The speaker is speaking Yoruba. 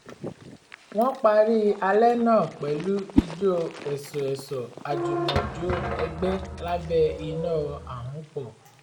wọn parí alẹ́ náà pẹ̀lú ijó ẹ̀sọ̀-ẹ̀sọ̀ àjùmọ̀jó ẹ̀gbẹ́ lábẹ́ iná àhunpọ̀